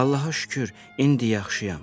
Allaha şükür, indi yaxşıyam.